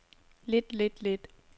lidt lidt lidt